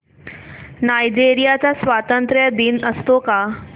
Nigeria चा स्वातंत्र्य दिन असतो का